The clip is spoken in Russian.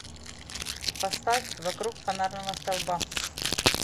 поставь вокруг фонарного столба